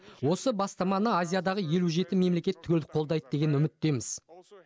осы бастаманы азиядағы елу жеті мемлекет түгел қолдайды деген үміттеміз